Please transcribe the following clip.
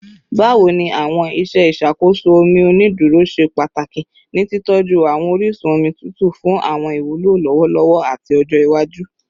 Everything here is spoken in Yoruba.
Bawo ni awọn iṣe iṣakoso omi oniduro ṣe pataki ni titọju awọn orisun omi tutu fun awọn iwulo lọwọlọwọ ati ọjọ iwaju?